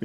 wird.